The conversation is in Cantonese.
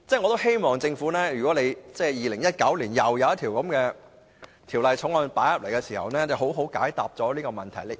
我希望政府2019年提交一項類似法案時，好好解答這個問題。